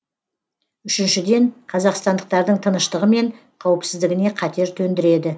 үшіншіден қазақстандықтардың тыныштығы мен қауіпсіздігіне қатер төндіреді